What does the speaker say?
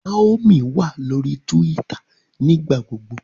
Naomi wa lori Túwìtá nigbagbogbo